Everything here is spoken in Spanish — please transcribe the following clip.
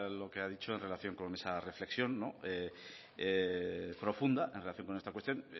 lo que ha dicho en relación con esa reflexión profunda en relación con esta cuestión